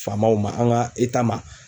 Faamaw ma an ka ma